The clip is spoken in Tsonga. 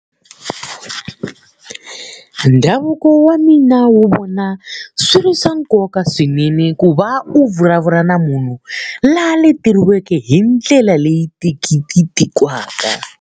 Ndhavuko wa mina wu vona swi ri swa nkoka swinene ku va u vulavula na munhu loyi a leteriweke hi ndlela leyi .